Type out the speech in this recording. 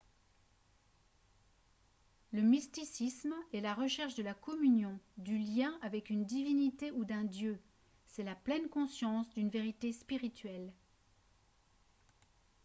le mysticisme est la recherche de la communion du lien avec une divinité ou d'un dieu c'est la pleine conscience d'une vérité spirituelle